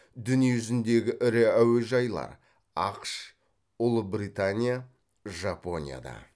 дүниежүзіндегі ірі әуежайлар ақш ұлыбритания жапонияда